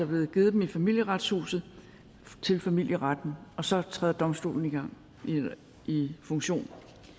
blevet givet dem i familieretshuset til familieretten og så træder domstolen i funktion